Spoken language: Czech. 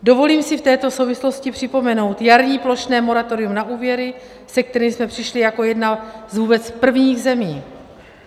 Dovolím si v této souvislosti připomenout jarní plošné moratorium na úvěry, se kterým jsme přišli jako jedna z vůbec prvních zemí.